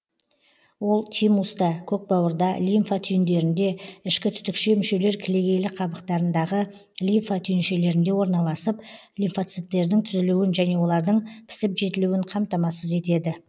ол тимуста көкбауырда лимфа түйіндерінде ішкі түтікше мүшелер кілегейлі қабықтарындағы лимфа түйіншелерінде орналасып лимфоциттердің түзілуін және олардың пісіп жетілуін қамтамасыз етеді